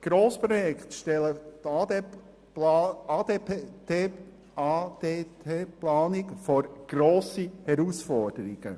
Grossprojekte stellen die ADT-Planung vor grosse Herausforderungen.